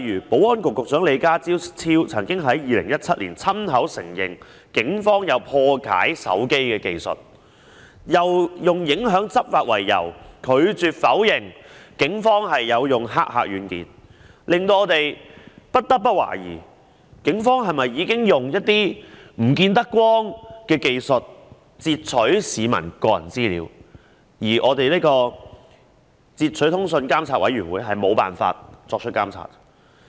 保安局局長李家超曾在2017年親口承認，警方有破解手機的技術，並以影響執法為由，拒絕否認警方使用駭客軟件，令我們不得不懷疑，警方是否已經使用一些不能見光的技術截取市民個人資料，而截取通訊及監察事務專員無法作出監察。